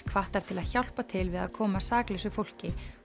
hvattar til að hjálpa til við að koma saklausu fólki